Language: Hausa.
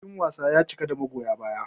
Filin wasan ya cika da magoya baya.